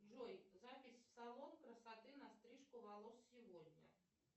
джой запись в салон красоты на стрижку волос сегодня